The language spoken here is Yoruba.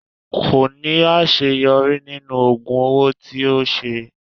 Ko laṣeyọri ninu oogun owo ti o ṣe